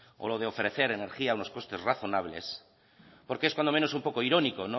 o lo de ofrecer energía a unos costes razonables porque es cuando menos un poco irónico